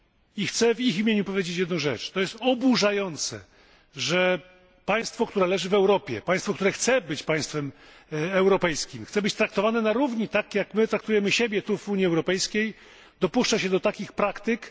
I chcę w ich imieniu powiedzieć jedną rzecz to jest oburzające, że państwo, które leży w Europie, państwo, które chce być państwem europejskim, chce być traktowane na równi, tak jak my traktujemy siebie, tu w Unii Europejskiej, dopuszcza się takich praktyk.